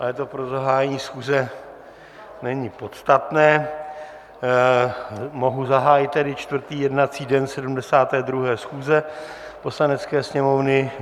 Ale to pro zahájení schůze není podstatné, mohu zahájit tedy čtvrtý jednací den 72. schůze Poslanecké sněmovny.